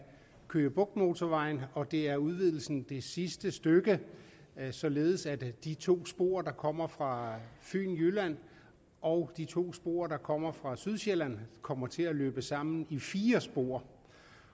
køge bugt motorvejen og det er udvidelsen af det sidste stykke således at de to spor der kommer fra fyn og jylland og de to spor der kommer fra sydsjælland kommer til at løbe sammen i fire spor